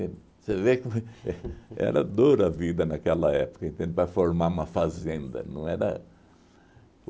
Você vê como que é. Era dura a vida naquela época, entende, para formar uma fazenda. Não era